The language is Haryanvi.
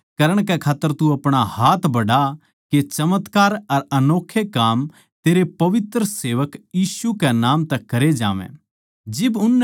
ठीक करण कै खात्तर तू अपणा हाथ बढ़ा के चमत्कार अर अनोक्खे काम तेरे पवित्र सेवक यीशु कै नाम तै करे जावैं